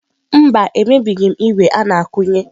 Mba, emebighị m ígwè a na-akụnye.